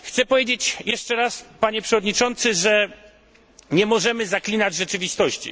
Chcę powiedzieć jeszcze raz, panie przewodniczący, że nie możemy zaklinać rzeczywistości.